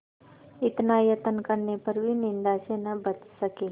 इतना यत्न करने पर भी निंदा से न बच सके